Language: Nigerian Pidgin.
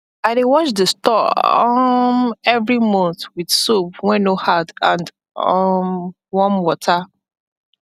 i dey wash the store um every month with soap wen no hard and um warm water